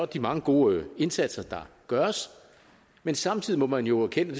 de mange gode indsatser der gøres men samtidig må man jo erkende og